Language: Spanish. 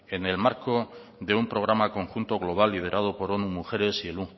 en el marco de un programa conjunto global liderado por mujeres y el